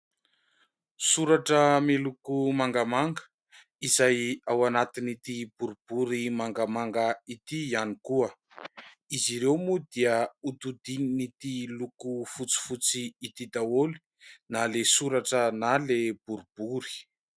Soratra miloko mangamanga izay ao anatin'ity boribory mangamanga ity ihany koa, izy ireo moa dia hodidin'ity loko fotsifotsy ity daholo na ilay soratra na ilay boribory.